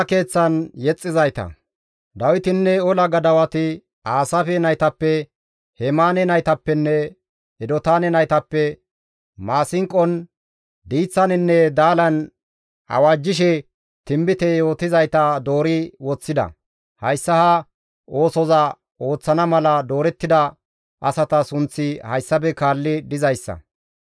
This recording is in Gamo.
Dawitinne ola gadawati Aasaafe naytappe, Hemaane naytappenne Edotaane naytappe maasinqon, diiththaninne daalan awajjishe tinbite yootizayta doori woththida; hayssa ha oosoza ooththana mala doorettida asata sunththi hayssafe kaalli dizayssa.